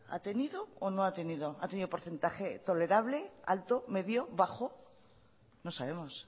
ha tenido o no ha tenido ha tenido porcentaje tolerable alto medio bajo no sabemos